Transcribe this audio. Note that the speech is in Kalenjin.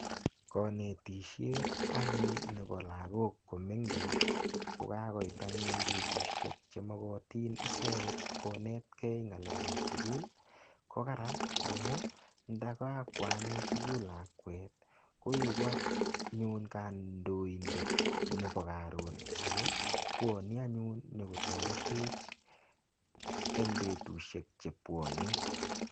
Kanetishet anyun nebo lakok komengech kokakoit anyun betushek chemokotin icheget konetkei ng'alekab sukul ko karan amu ndakakwo anyun sukul lakwet koeku anyun kandidet nebo karon ako pwoni anyun nyokotoretech eng' betushiek chepwoni